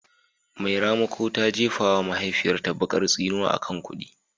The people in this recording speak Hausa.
Mai ramako ta jefa wa mahaifiyarta bakar tsinuwa akan kudi